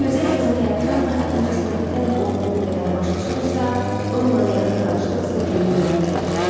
Bu gözəl qızın həyatdan da, incəsənətdən olduğu qədər başı çıxırsa, onunla yaxın tanışlıq sizə böyük zövq verəcək.